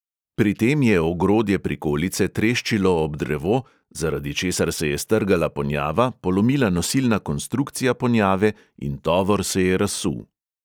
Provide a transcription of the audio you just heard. Pri tem je ogrodje prikolice treščilo ob drevo, zaradi česar se je strgala ponjava, polomila nosilna konstrukcija ponjave in tovor se je razsul.